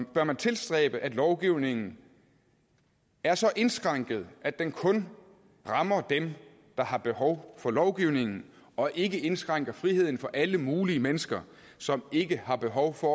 bør man tilstræbe at lovgivningen er så indskrænket at den kun rammer dem der har behov for lovgivningen og ikke indskrænker friheden for alle mulige mennesker som ikke har behov for